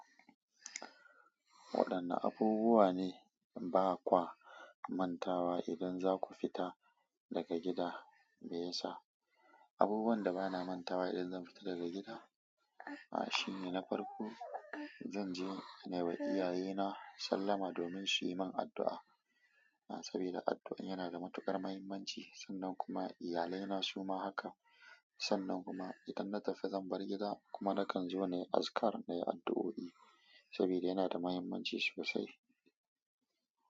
Waɗanne abubuwa ne ba kwa manta wa idan za ku fita daga gida me yasa? Abubuwan da bana manta wa idan zan fita daga gida, aa shine na farko zan je na yi wa iyayena sallama domin su yi min addu'a. Saboda addu'an yana da matuƙar muhimmanci sannan kuma iyalaina su ma haka. Sannan kuma idan na tafi zan bar gida kuma nakan zo na yi azkar na yi addu'o'i saboda yana da muhimmanci sosai.